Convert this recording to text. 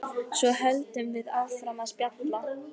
Svo höldum við áfram að spjalla.